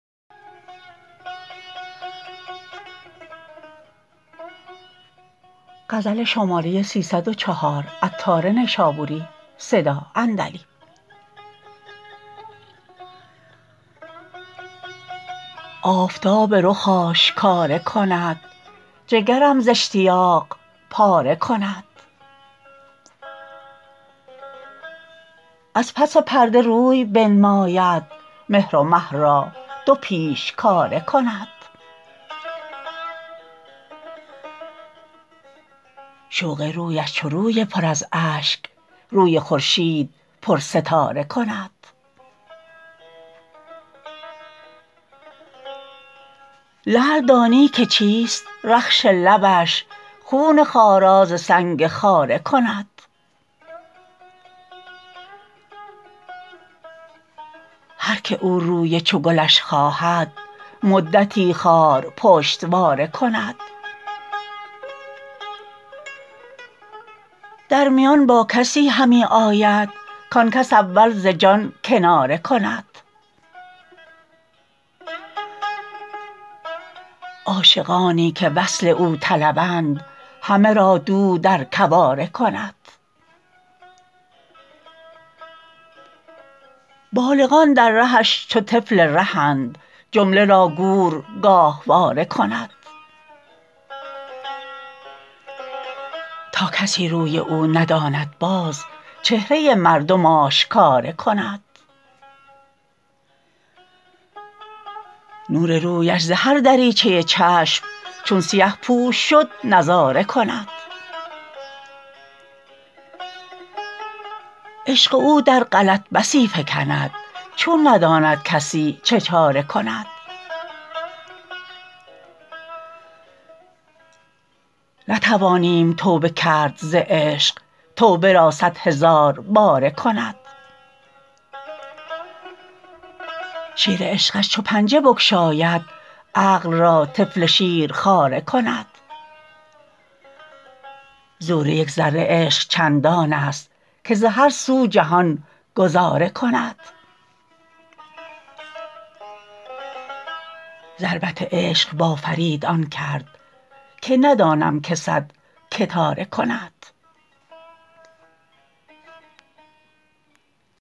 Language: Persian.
آفتاب رخ آشکاره کند جگرم ز اشتیاق پاره کند از پس پرده روی بنماید مهر و مه را دو پیشکاره کند شوق رویش چو روی پر از اشک روی خورشید پر ستاره کند لعل دانی که چیست رخش لبش خون خارا ز سنگ خاره کند هر که او روی چو گلش خواهد مدتی خار پشتواره کند در میان با کسی همی آید کان کس اول ز جان کناره کند عاشقانی که وصل او طلبند همه را دوع در کواره کند بالغان در رهش چو طفل رهند جمله را گور گاهواره کند تا کسی روی او نداند باز چهره مردم آشکاره کند نور رویش ز هر دریچه چشم چون سیه پوش شد نظاره کند عشق او در غلط بسی فکند چون نداند کسی چه چاره کند نتوانیم توبه کرد ز عشق توبه را صد هزار باره کند شیر عشقش چو پنجه بگشاید عقل را طفل شیرخواره کند زور یک ذره عشق چندان است که ز هر سو جهان گذاره کند ضربت عشق با فرید آن کرد که ندانم که صد کتاره کند